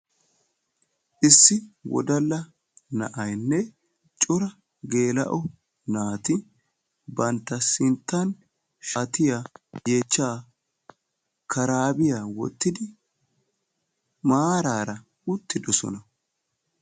issi wodala na'aynne cora geela'o naati bantta sinttan yeechchaa karaabiya wottidi maaraara uttidosona.